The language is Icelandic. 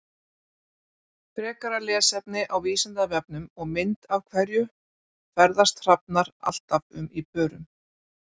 Frekara lesefni á Vísindavefnum og mynd Af hverju ferðast hrafnar alltaf um í pörum?